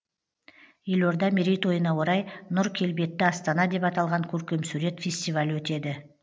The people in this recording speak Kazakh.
елорда мерейтойына орай нұр келбетті астана деп аталған көркемсурет фестивалі өтеді